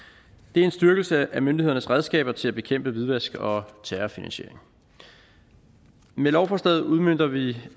det er en styrkelse af myndighedernes redskaber til at bekæmpe hvidvask og terrorfinansiering med lovforslaget udmønter vi vi